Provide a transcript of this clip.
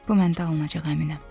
Bu məndə alınacaq, əminəm.